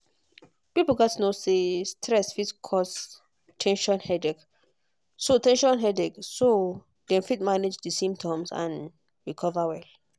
people gatz know say stress fit cause ten sion headache so ten sion headache so dem fit manage di symptoms and recover well.